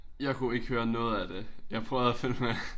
Jeg kunne ikke høre noget af det. Jeg prøvede at følge med